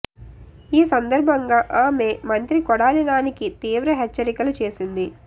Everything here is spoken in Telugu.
ఈ సందర్భంగా ఆమె మంత్రి కొడాలి నానికి తీవ్ర హెచ్చరికలు చేసింది